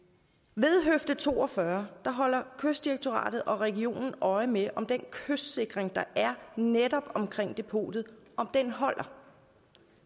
ved høfde to og fyrre holder kystdirektoratet og regionen øje med om den kystsikring der er netop omkring depotet holder